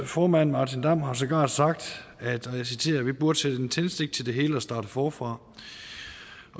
formand martin damm har sågar sagt vi burde sætte en tændstik til det hele og starte forfra